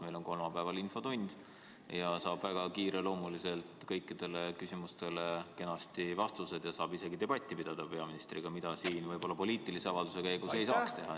Meil on kolmapäeval infotund ja seal saab väga kiiresti kõikidele küsimustele kenasti vastused ja saab isegi debatti pidada peaministriga, mida poliitilise avalduse käigus võib-olla ei saaks teha.